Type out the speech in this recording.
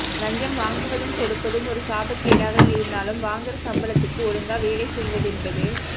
லஞ்சம் வாங்குவதும் கொடுப்பதும் ஒரு சாபக்கேடாக இருந்தாலும் வாங்குற சம்பளத்துக்கு ஒழுங்க வேலை செய்வதென்பது